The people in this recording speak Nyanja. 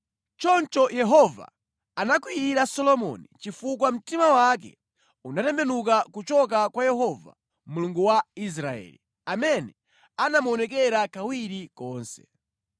Choncho Yehova anakwiyira Solomoni chifukwa mtima wake unatembenuka kuchoka kwa Yehova Mulungu wa Israeli, amene anamuonekera kawiri konse.